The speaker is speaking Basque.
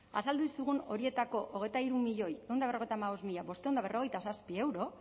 azaldu dizugun horietako hogeita hiru milioi ehun eta berrogeita hamabost mila bostehun eta berrogeita zazpi euro